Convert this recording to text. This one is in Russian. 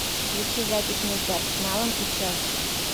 включи запись между арсеналом и челси